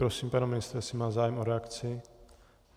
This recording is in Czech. Prosím pana ministra, jestli má zájem o reakci.